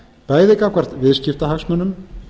bæði gagnvart viðskiptahagsmunum